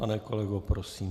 Pane kolego, prosím.